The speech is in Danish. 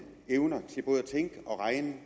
evner til både at tænke og regne